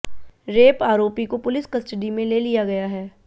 rape आरोपी को police custody में ले लिया गया है